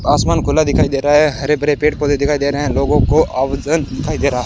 आसमान खुला दिखाई दे रहा है। हरे-भरे पेड़-पौधे दिखाई दे रहे हैं। लोगों को आवजन दिखाई दे रहा है।